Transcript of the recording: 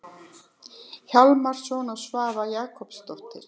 Hjálmarsson og Svava Jakobsdóttir.